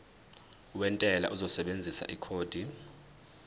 wentela uzosebenzisa ikhodi